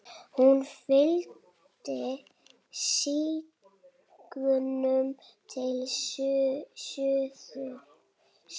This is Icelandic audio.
Hún fylgdi stígnum til suðurs.